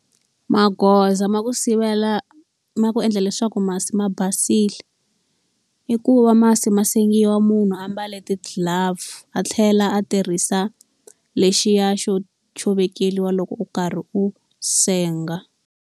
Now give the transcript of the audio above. Magoza ma ku sivela ma ku endla leswaku masi ma basile, i ku va masi ma sengiwa munhu a mbale ti-glove, a tlhela a tirhisa lexiya xo xo vekeriwa loko u karhi u senga.